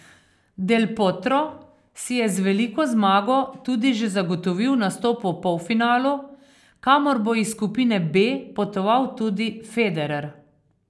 Del Potro si je z veliko zmago tudi že zagotovil nastop v polfinalu, kamor bo iz skupine B potoval tudi Federer.